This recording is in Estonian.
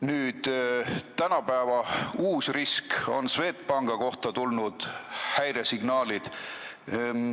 Nüüd, praegu on uus risk: Swedbanki kohta on tulnud häiresignaalid.